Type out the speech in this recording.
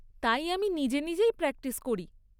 তাই আমি নিজে নিজেই প্র্যাকটিস করি।